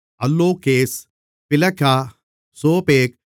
அல்லோகேஸ் பிலகா சோபேக்